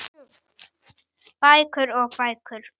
Bækur og bækur.